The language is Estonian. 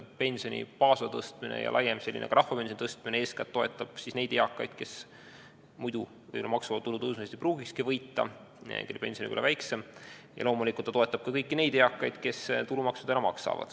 Pensioni baasosa tõstmine ja laiem rahvapensioni tõstmine toetab eeskätt neid eakaid, kes muidu maksuvaba tulu tõusust ei pruugikski võita, sest nende pension võib olla väiksem, ning loomulikult toetab see ka kõiki neid eakaid, kes praegu tulumaksu maksavad.